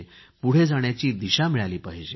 पुढे जाण्याची दिशा मिळाली पाहिजे